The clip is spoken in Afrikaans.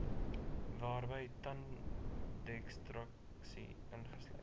waarby tandekstraksie ingesluit